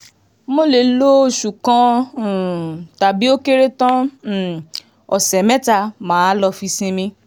mo lè lo oṣù kan um tàbí ó kéré tán um ọ̀sẹ̀ mẹ́ta mà á lọ́ọ́ fi sinmi